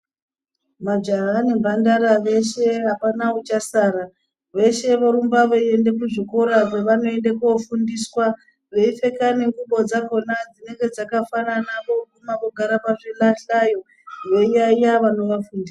Majaha nemhandara veshe apana uchasara veshe vorumba veiende kuzvikora kwevanoende kofundiswa veipfeke nengubo dzakona dzinenge dzakafanana voguma vogara pazvilahlayo veiyayeya vanovafundisa.